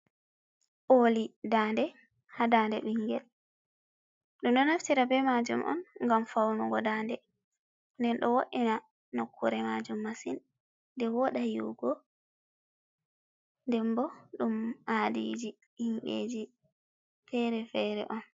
Oli daade haa daade bingel, ɗum ɗo naftira be maajum on ngam faunugo daade, nden ɗo wo'ina nokkure maajum masin, nde wooɗa yi’ugo ndebbo ɗum aadiji, himɓe ji fere-fere on.